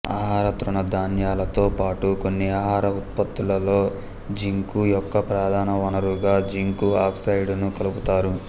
ఆహార తృణ ధాన్యాలతో పాటు కొన్ని ఆహార ఉత్పత్తులలోజింకు యొక్క ప్రధాన వనరుగా జింకు ఆక్సైడును కలుపుతారు